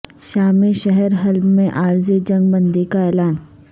شامی شہر حلب میں عارضی جنگ بندی کا اعلان